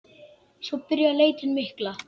Svo byrjar leitin mikla.